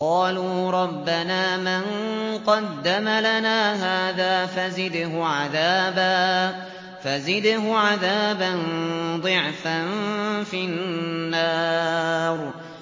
قَالُوا رَبَّنَا مَن قَدَّمَ لَنَا هَٰذَا فَزِدْهُ عَذَابًا ضِعْفًا فِي النَّارِ